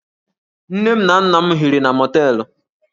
Nne na nna m hiri na mọteelụ